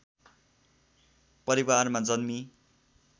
परिवारमा जन्मी